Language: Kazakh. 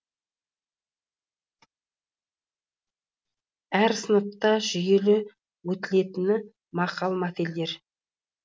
әр сыныпта жүйелі өтілетіні мақал мәтелдер